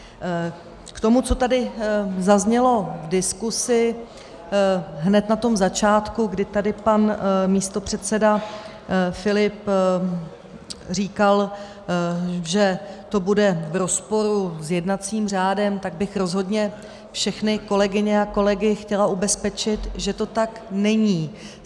K tomu, co tady zaznělo v diskusi, hned na tom začátku, kdy tady pan místopředseda Filip říkal, že to bude v rozporu s jednacím řádem, tak bych rozhodně všechny kolegyně a kolegy chtěla ubezpečit, že to tak není.